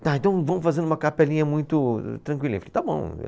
Tá. Então, vamos fazer uma capelinha muito tranquilinha, falei está bom.